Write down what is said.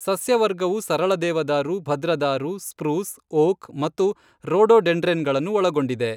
ಸಸ್ಯವರ್ಗವು ಸರಳ ದೇವದಾರು, ಭದ್ರದಾರು, ಸ್ಪ್ರೂಸ್, ಓಕ್ ಮತ್ತು ರೋಡೋಡೆಂಡ್ರೆನ್ಗಳನ್ನು ಒಳಗೊಂಡಿದೆ.